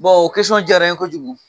jara n ye kojugu.